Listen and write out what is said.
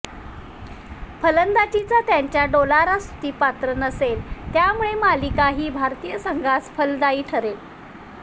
फलंदाजीचा त्यांचा डोलारा स्तुतीपात्र नसेल यामुळे मालिका ही भारतीय संघास फलदायी ठरेल